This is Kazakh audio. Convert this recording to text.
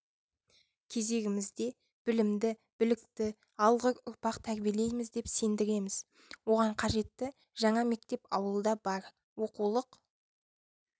кезегімізде білімді білікті алғыр ұрпақ тәрбиелейміз деп сендіреміз оған қажетті жаңа мектеп ауылда бар оқулық